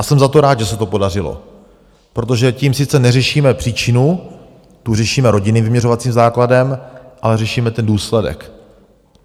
A jsem za to rád, že se to podařilo, protože tím sice neřešíme příčinu, tu řešíme rodinným vyměřovacím základem, ale řešíme ten důsledek.